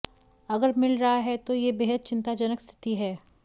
अगर मिल रहा है तो यह बेहद चिंताजनक स्थिति है